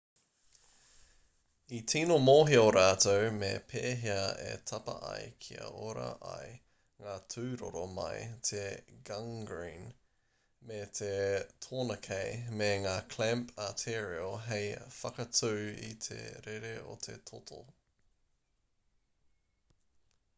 i tīno mōhio rātou me pēhea e tapa ai kia ora ai ngā tūroro mai i te gangrene me te tourniquet me ngā clamp arterial hei whakatū i te rere o te toto